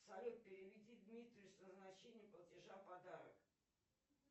салют переведи дмитрию с назначением платежа подарок